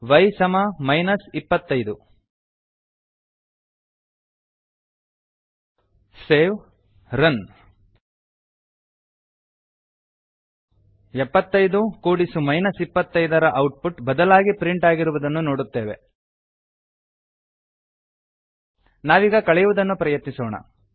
Y ಸಮ minus ಇಪ್ಪತ್ತೈದು save run 75 ಎಪ್ಪತ್ತೈದು ಕೂಡಿಸು 25ಮೈನಸ್ ಇಪ್ಪತ್ತೈದ ರ ಔಟ್ ಪುಟ್ ಬದಲಾಗಿ ಪ್ರಿಂಟ್ ಆಗಿರುವುದನ್ನು ನೋಡುತ್ತೇವೆ ನಾವೀಗ ಕಳೆಯುವುದನ್ನು ಪ್ರಯತ್ನಿಸೋಣ